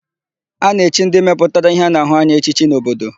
A na-echi ndị mepụtara íhé a na-ahụ anya echichi n'obodo.